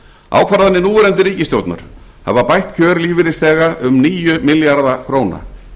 ákvarðanir núverandi ríkisstjórnar hafa bætt kjör lífeyrisþega um níu milljarða króna